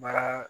Baara